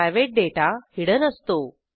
private data hidden असतो